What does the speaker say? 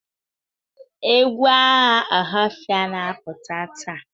Egwu agha Ohafia na-apụta taa?